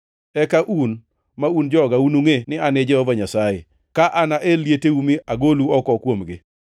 Eka un, ma un joga, unungʼe ni An e Jehova Nyasaye, ka anael lieteu mi agolu oko kuomgi.